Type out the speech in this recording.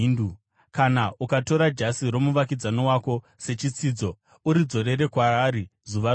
Kana ukatora jasi romuvakidzani wako sechitsidzo, uridzorere kwaari zuva rodoka,